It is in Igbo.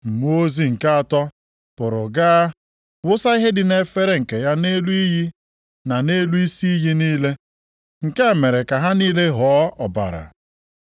Mmụọ ozi nke atọ pụrụ gaa wụsa ihe dị nʼefere nke ya nʼelu iyi na nʼelu isi iyi niile. Nke a mere ka ha niile ghọọ ọbara.